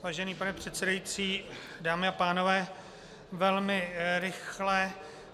Vážený pane předsedající, dámy a pánové, velmi rychle.